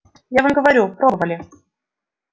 я вам говорю пробовали